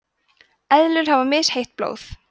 eðlur hafa misheitt blóð